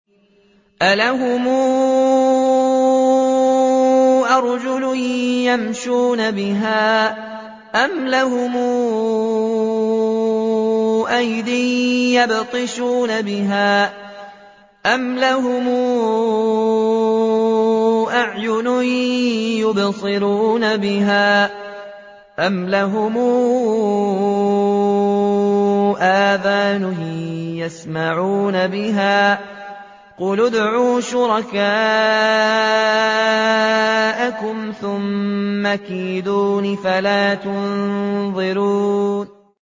أَلَهُمْ أَرْجُلٌ يَمْشُونَ بِهَا ۖ أَمْ لَهُمْ أَيْدٍ يَبْطِشُونَ بِهَا ۖ أَمْ لَهُمْ أَعْيُنٌ يُبْصِرُونَ بِهَا ۖ أَمْ لَهُمْ آذَانٌ يَسْمَعُونَ بِهَا ۗ قُلِ ادْعُوا شُرَكَاءَكُمْ ثُمَّ كِيدُونِ فَلَا تُنظِرُونِ